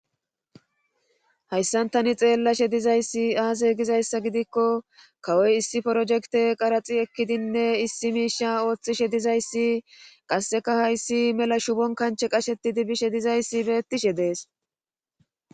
hayssan tani xeellashe dizayssi aaze gizayssa gidikko kawoy issi porojekte qaraxi ekkidinne issi miisha ooththishe dizayssi qasseka hayssi mela shubon kanche qashetidi bishe dizayssi beettishe de'es